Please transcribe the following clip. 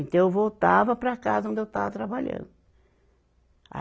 Então, eu voltava para a casa onde eu estava trabalhando. a